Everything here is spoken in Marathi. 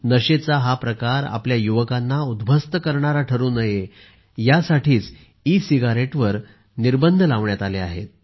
नशेचा हा प्रकार आपल्या युवकांना उध्वस्त करणारा ठरू नये यासाठी सिगारेटवर निर्बंध लावण्यात आले आहेत